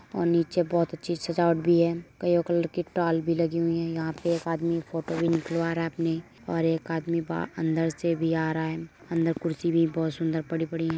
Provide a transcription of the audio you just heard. और नीचे बहोत अच्छी सजावट भी है और ताल भी हैं यहाॅं पे एक आदमी फ़ोटो भी निकलवा रहा है अपनी और एक आदमी बह अंदर से भी आ रहा है अंदर कुर्सी भी बोहोत सुंदर पड़ी पड़ी --